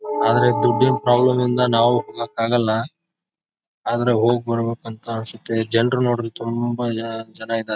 ಆದ್ರೆ ದುಡ್ಡ್ ಪ್ರಾಬ್ಲೆಮಿಂದ ನಾವು ಹೋಗಕ್ಕೆ ಆಗಲ್ಲ ಆದ್ರೆ ಹೋಗ್ಬರಬೇಕಂತ ಅನ್ಸುತ್ತೆ. ಜನ್ರು ನೋಡಿದ್ರೆ ತುಂಬ ಜನ ಚೆನಾಗ್ ಇದ್ದಾರೆ.